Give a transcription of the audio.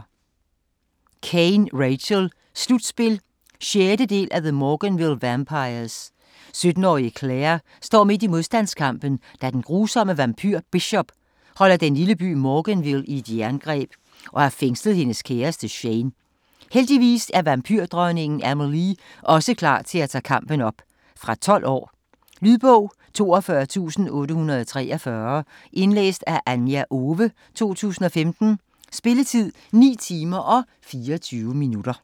Caine, Rachel: Slutspil 6. del af The Morganville vampires. 17-årige Claire står midt i modstandskampen, da den grusomme vampyr Bishop holder den lille by Morganville i et jerngreb og har fængslet hendes kæreste, Shane. Heldigvis er vampyrdronningen Amelie også klar til at tage kampen op. Fra 12 år. Lydbog 42843 Indlæst af Anja Owe, 2015. Spilletid: 9 timer, 24 minutter.